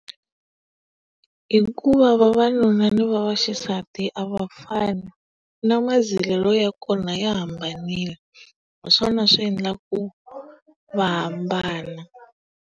Hikuva vavanuna ni vaxisati a va fani. Na mazilelo ya kona ya hambanile. Hi swona swi endlaka ku va hambana.